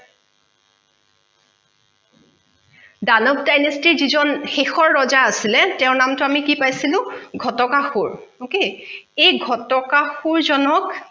দানৱ dynasty ৰ যিজন শেষৰ ৰজা আছিলে তেওঁৰ নামতো আমি কি পাইছিলো ঘটকাসূৰ okay এই ঘটকাসূৰজনক